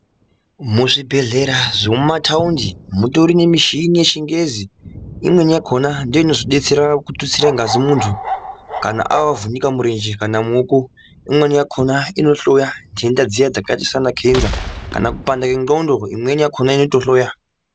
Muzvibhedhlera zvemumataundi mutori nemuchini imweni yakona ndoinobetsera kututsirwa ngazi muntu kana avhunika murenje kana muoko imweni yakona Inooneka zvitenda zvakaita secancer kana kupanda kwengonxo imweni yakona inohloya.